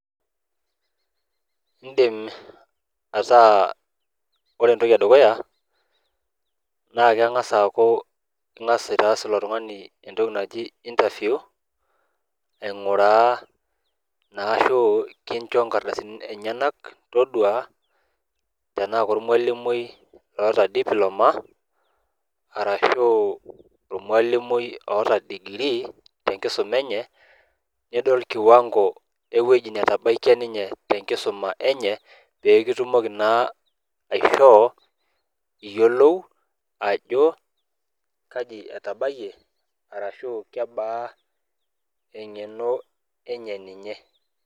Iiindim ataa ore entoki e dukuya naake eng'asa aaku ing'as aitaas ilo tung'ani entoki naji interview aing'uraa naa ashu kincho inkardasini enyenak todua tenaaak ormwalimui loota diploma arashu ormwalimui oota degree tenkisuma enye. Nidol kiwang'o ewueji netabaikia ninye tenkisuma enye pee kitumoki naa aishoo iyiolou ajo kaji etabayie arashu kebaa eng'eno enye ninye.